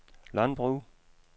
landbrug